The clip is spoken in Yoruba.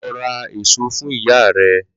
Lọ ra èso fún ìyá rẹ̀!